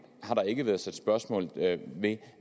har der ikke været sat spørgsmålstegn ved